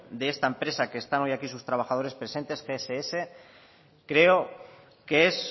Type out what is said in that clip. de esta empresa que están hoy aquí sus trabajadores presente gss creo que es